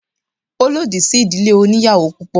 Ó lòdì sí ìdílé oníyàwò púpọ̀.